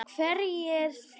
Hverjir fleiri?